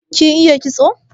Kin iya kitso?